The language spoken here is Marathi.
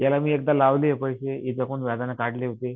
याला मी एकदा लावले पैसे काढले होते.